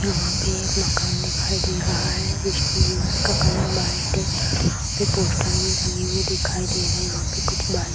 यहाँ पर एक मकान दिखाई दे रहा है इसकी दिवाल का कलर व्हाइट है यहाँ पर पोस्टर भी लगे हुए दिखाई दे रहे हैं यहाँ पे कुछ बाइक --